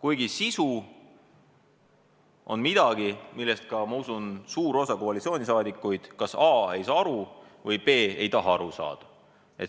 kuigi sisu on midagi, millest ka, ma usun, suur osa koalitsiooni liikmeid kas ei saa aru või ei taha aru saada.